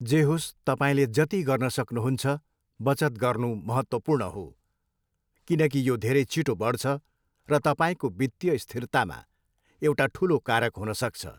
जे होस्, तपाईँले जति गर्न सक्नुहुन्छ बचत गर्नु महत्त्वपूर्ण हो, किनकि यो धेरै छिटो बढ्छ र तपाईँको वित्तीय स्थिरतामा एउटा ठुलो कारक हुन सक्छ।